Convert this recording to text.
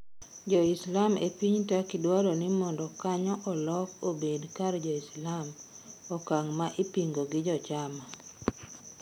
Joislam epiny Turkey dwaro ni mondo kanyo olok obed kar joislam okang' ma ipingo gi jochama.